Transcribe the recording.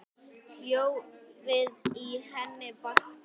Hljóðið í henni vakti mig.